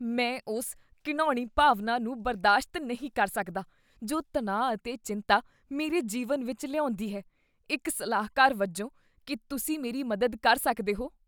ਮੈਂ ਉਸ ਘਿਣਾਉਣੀ ਭਾਵਨਾ ਨੂੰ ਬਰਦਾਸ਼ਤ ਨਹੀਂ ਕਰ ਸਕਦਾ ਜੋ ਤਣਾਅ ਅਤੇ ਚਿੰਤਾ ਮੇਰੇ ਜੀਵਨ ਵਿੱਚ ਲਿਆਉਂਦੀ ਹੈ, ਇੱਕ ਸਲਾਹਕਾਰ ਵਜੋਂ, ਕੀ ਤੁਸੀਂ ਮੇਰੀ ਮਦਦ ਕਰ ਸਕਦੇ ਹੋ?